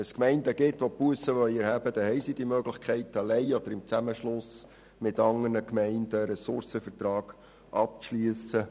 Wenn Gemeinden Bussen erheben wollen, haben sie die Möglichkeit, alleine oder im Zusammenschluss mit anderen Gemeinden einen Ressourcenvertrag abzuschliessen.